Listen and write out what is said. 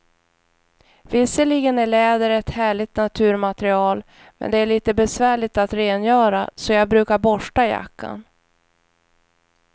Visserligen är läder ett härligt naturmaterial, men det är lite besvärligt att rengöra, så jag brukar borsta jackan.